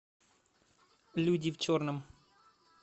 люди в черном